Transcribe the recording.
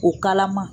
O kalama